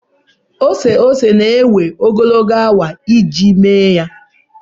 ose ose na-ewe ogologo awa iji mee ya